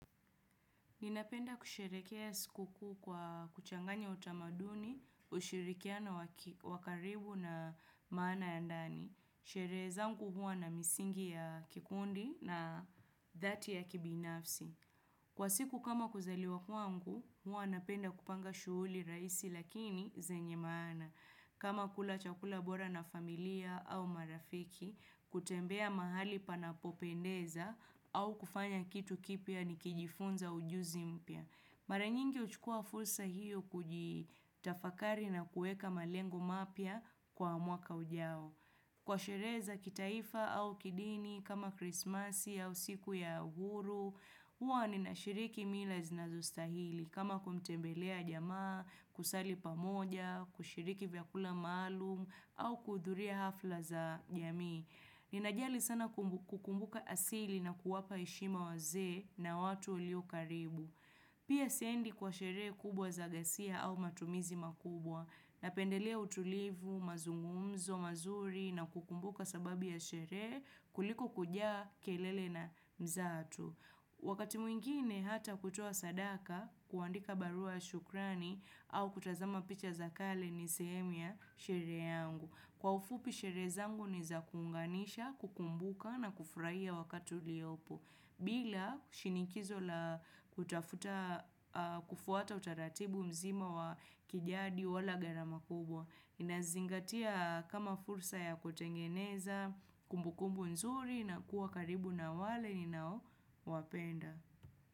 Ninapenda kusherehekea sikukuu kwa kuchanganya utamaduni, ushirikiano wa karibu na maana ya ndani. Sherehe yangu huwa na misingi ya kikundi na dhati ya kibinafsi. Kwa siku kama kuzaliwa kuangu, huwa napenda kupanga shughuli raisi lakini zenye maana. Kama kula chakula bora na familia au marafiki, kutembea mahali panapopendeza au kufanya kitu kipya nikijifunza ujuzi mpya. Mara nyingi huchukua fursa hiyo kujitafakari na kueka malengo mapya kwa mwaka ujao. Kwa sherehe za kitaifa au kidini kama krismasi au siku ya uhuru, huwa ninashiriki mila zinazostahili. Kama kumtembelea jamaa, kusali pamoja, kushiriki vyakula maalum au kuudhuria hafla za jamii. Ninajali sana kukumbuka asili na kuwapa heshima wazee na watu walio karibu. Pia siendi kwa sherehe kubwa za gasia au matumizi makubwa napendelea utulivu, mazungumzo, mazuri na kukumbuka sababu ya sherehe kuliko kujaa kelele na mzatu. Wakati mwingine hata kutoa sadaka kuandika barua shukrani au kutazama picha za kale ni sehemu ya sherehe yangu. Kwa ufupi sherehe zangu ni za kuunganisha, kukumbuka na kufurahia wakati uliopo. Bila shinikizo la kutafuta kufuata utaratibu mzima wa kijadi wala gharama kubwa Inazingatia kama fursa ya kutengeneza kumbukumbu nzuri na kuwa karibu na wale ninaowapenda.